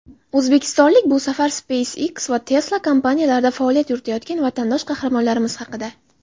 "O‘zbekistonlik": Bu safar "SpaceX" va "Tesla" kompaniyalarida faoliyat yuritayotgan vatandosh qahramonlarimiz haqida.